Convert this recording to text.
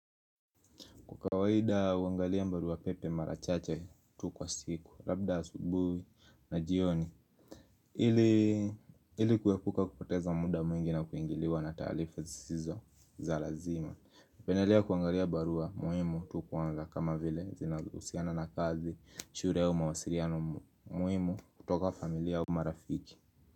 Kwa kawaida uangalia barua pepe mara chache tu kwa siku. Labda asubuhi na jioni. Ili kuepuka kupoteza muda mwingi na kuingiliwa na taarifa zizo za lazima hupendelea kuangalia barua muhimu tu kuona kama vile zinahusiana na kazi shule au mawasiliano muhimu kutoka familia au marafiki.